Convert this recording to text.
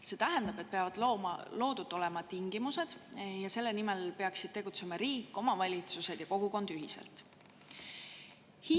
See tähendab, et peavad olema loodud tingimused, ja selle nimel peaksid riik, omavalitsused ja kogukond ühiselt tegutsema.